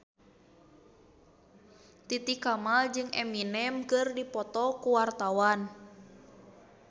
Titi Kamal jeung Eminem keur dipoto ku wartawan